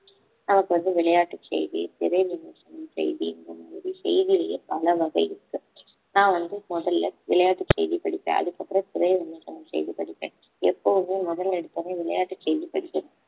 நமக்கு வந்து விளையாட்டு செய்தி திரை விமர்சனம் செய்தி இந்த மாதிரி செய்தியிலேயே பல வகை இருக்கு நான் வந்து முதல்ல விளையாட்டு செய்தி படிப்பேன் அதுக்கப்புறம் திரை விமர்சனம் செய்தி படிப்பேன் எப்பவுமே முதல்ல எடுத்தவுடனே விளையாட்டு செய்தி படிப்பேன்